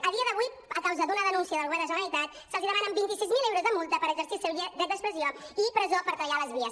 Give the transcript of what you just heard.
a dia d’avui a causa d’una denúncia del govern de la generalitat se’ls demanen vint sis mil euros de multa per exercir el seu dret d’expressió i presó per tallar les vies